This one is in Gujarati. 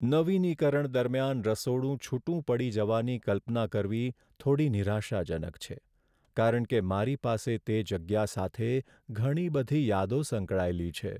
નવીનીકરણ દરમિયાન રસોડું છૂટું પડી જવાની કલ્પના કરવી થોડી નિરાશાજનક છે, કારણ કે મારી પાસે તે જગ્યા સાથે ઘણી બધી યાદો સંકળાયેલી છે.